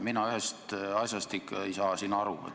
Mina ühest asjast ei saa siin ikka aru.